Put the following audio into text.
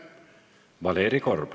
Valeri Korb.